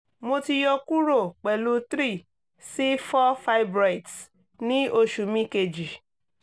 mo ti yọkuro pẹlu 3 si 4 fibriods ni osu mi keji